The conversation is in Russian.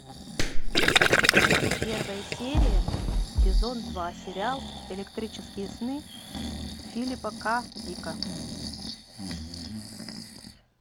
первая серия сезон два сериал электрические сны филипа к дика